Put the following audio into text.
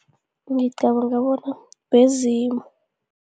Ngicabanga bona bezimu.